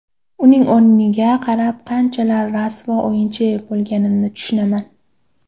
Uning o‘yiniga qarab, qanchalar rasvo o‘yinchi bo‘lganimni tushunaman”.